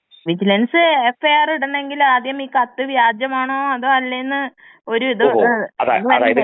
ഇതിനനുസരിച്ച് vigilance FIR ഇടണമെങ്കി ആദ്യം ഈ കത്ത് വ്യാജമാണോ അതോ അല്ലെ എന്ന് ഒരു *നോട്ട്‌ ക്ലിയർ*.